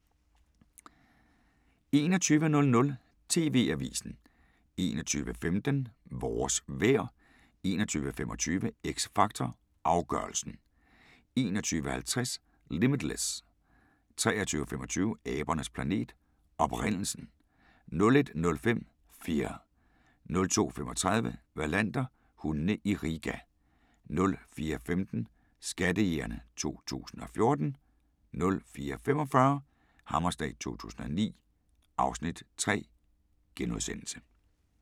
21:00: TV-avisen 21:15: Vores vejr 21:25: X Factor Afgørelsen 21:50: Limitless 23:25: Abernes planet: Oprindelsen 01:05: Fear 02:35: Wallander: Hundene i Riga 04:15: Skattejægerne 2014 04:45: Hammerslag 2009 (Afs. 3)*